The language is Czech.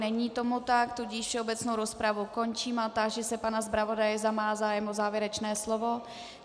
Není tomu tak, tudíž všeobecnou rozpravu končím a táži se pana zpravodaje, zda má zájem o závěrečné slovo.